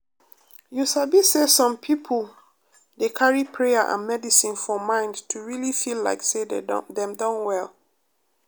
you sabi say some people dey carry prayer and medicine for mind to really feel like say dem don well.